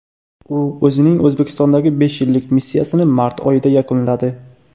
U o‘zining O‘zbekistondagi besh yillik missiyasini mart oyida yakunladi.